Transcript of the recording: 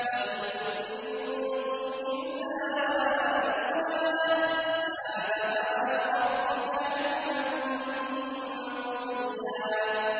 وَإِن مِّنكُمْ إِلَّا وَارِدُهَا ۚ كَانَ عَلَىٰ رَبِّكَ حَتْمًا مَّقْضِيًّا